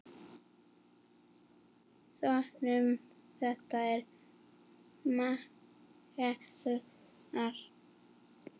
Sonur þeirra er Mikael Elmar.